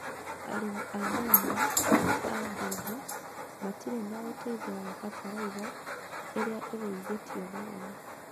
Arĩmi a Murangâa a mbebe, matirĩ na ũteithio wa bataraitha ĩrĩa ĩgũithetio thogora.